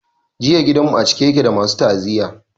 Jiya gidan mu a cike yake da masu ta'aziyya.